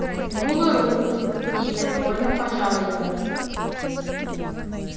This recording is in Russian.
протянула руку и я невольно пожал её